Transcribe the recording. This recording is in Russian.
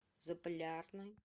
заполярный